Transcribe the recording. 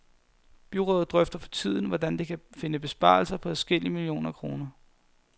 Byrådet drøfter for tiden, hvordan det kan finde besparelser på adskillige millioner kroner.